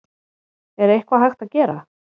Er eitthvað hægt að gera?